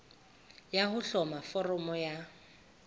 ya ho hloma foramo ya